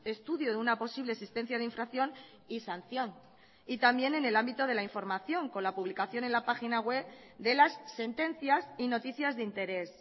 estudio de una posible existencia de infracción y sanción también en el ámbito de la información con la publicación en la página web de las sentencias y noticias de interés